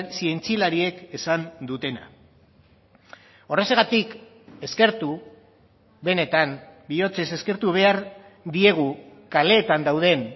zientzialariek esan dutena horrexegatik eskertu benetan bihotzez eskertu behar diegu kaleetan dauden